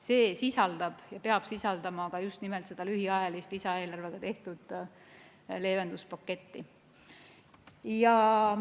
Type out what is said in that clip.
See sisaldab ja peab sisaldama ka just nimelt seda lühiajalist lisaeelarvega tehtud leevenduspaketti.